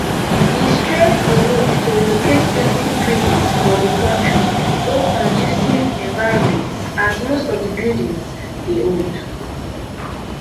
e stress di need to relocate plenty prisons for di kontri go conducive environments as most of di buildings dey old